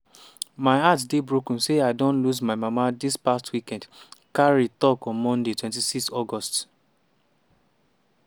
“my heart dey broken say i don lose my mama dis past weekend” carey tok on monday 26 august.